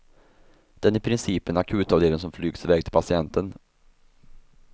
Den är i princip en akutavdelning som flygs iväg till patienten.